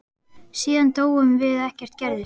Síðan dóum við og ekkert gerðist.